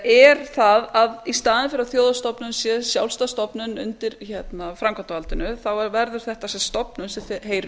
er það að í staðinn fyrir að þjóðhagsstofnun sé sjálfstæð stofnun undir framkvæmdarvaldinu verður þetta stofnun sem heyrir